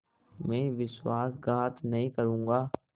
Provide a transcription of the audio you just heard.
मैं विश्वासघात नहीं करूँगा